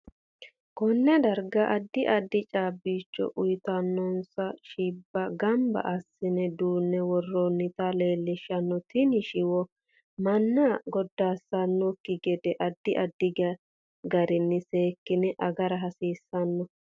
KOnne darga addi addi caabicho. uyiitsnno shiiiba ganbba assine dune woroonita leelishanno tini shiwo manna godaasanokiki gede addi addi gariini seekine agara hasiisanno